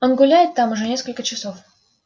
он гуляет там уже несколько часов